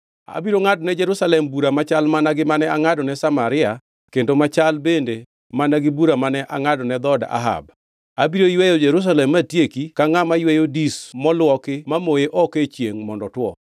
Abiro ngʼadone Jerusalem bura machal mana gi mane angʼadone Samaria kendo machal bende mana gi bura mane angʼadone dhood Ahab. Abiro yweyo Jerusalem matieki ka ngʼama yweyo dis moluoki mamoye oko e chiengʼ kuome piny mondo otwo.